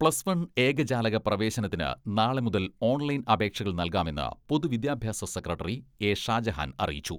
Plus one ഏകജാലക പ്രവേശനത്തിന് നാളെ മുതൽ ഓൺലൈൻ അപേക്ഷകൾ നൽകാമെന്ന് പൊതുവിദ്യാഭ്യാസ സെക്രട്ടറി എ.ഷാജഹാൻ അറിയിച്ചു.